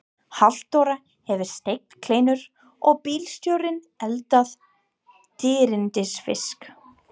Halldóra hefur steikt kleinur og bílstjórinn eldað dýrindis fisk.